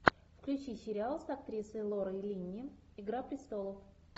включи сериал с актрисой лорой линни игра престолов